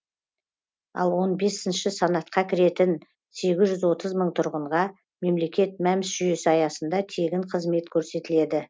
ал он бесінші санатқа кіретін сегіз жүз отыз мың тұрғынға мемлекет мәмс жүйесі аясында тегін қызмет көрсетіледі